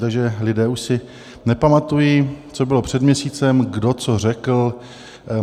Takže lidé už si nepamatují, co bylo před měsícem, kdo co řekl.